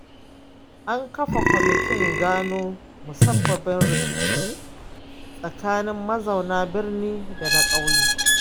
An kafa kwamitin gano musabbabin rikicin tsakanin mazauna birnin da na ƙauyen.